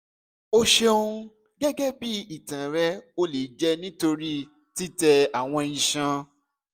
o ṣeun gẹgẹbi itan rẹ o le jẹ nitori titẹ awọn iṣan